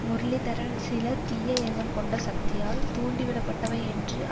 முரளிதரன் சில தீய எண்ணம் கொண்ட சக்திகளால் தூண்டிவிடப்பட்டவை என்றும்